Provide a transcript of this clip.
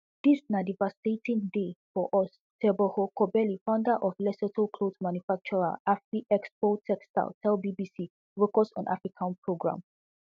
dis na devastating day for us teboho kobeli founder of lesotho clothes manufacturer afriexpo textiles tell bbc focus on africa programme